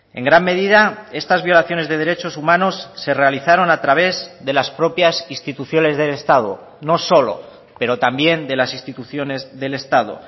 en gran medida estas violaciones de derechos humanos se realizaron a través de las propias instituciones del estado no solo pero también de las instituciones del estado